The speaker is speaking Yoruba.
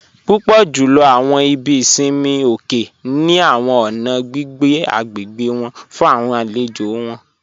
Púpọ̀ júlọ̀ awọn ìbí ìṣinmi òkè ni awọn ọ̀nà gbigbé agbégbe wọn fún awọn àlèjò wọn